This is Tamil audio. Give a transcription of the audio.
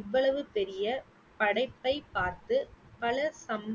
இவ்வளவு பெரிய படைப்பை பார்த்து வளர் சம்~